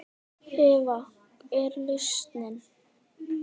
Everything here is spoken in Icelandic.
Eva: Hver er lausnin?